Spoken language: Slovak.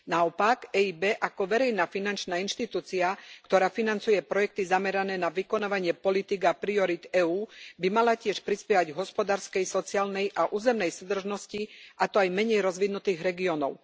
Naopak, EIB ako verejná finančná inštitúcia, ktorá financuje projekty zamerané na vykonávanie politík a priorít EÚ, by mala tiež prispievať k hospodárskej, sociálnej a územnej súdržnosti, a to aj menej rozvinutých regiónov.